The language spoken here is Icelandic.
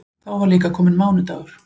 Þá var líka kominn mánudagur.